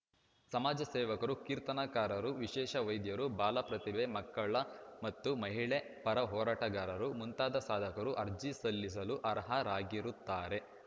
ಸಮಾಜ ಸೇವಕರು ಕೀರ್ತನಕಾರರು ವಿಶೇಷ ವೈದ್ಯರು ಬಾಲ ಪ್ರತಿಭೆ ಮಕ್ಕಳ ಮತ್ತು ಮಹಿಳೆ ಪರ ಹೋರಾಟಗಾರರು ಮುಂತಾದ ಸಾಧಕರು ಅರ್ಜಿ ಸಲ್ಲಿಸಲು ಆರ್ಹರಾಗಿರುತ್ತಾರೆ